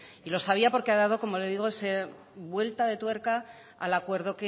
y lo sabía porque ha dado como le digo esa vuelta de tuerca al acuerdo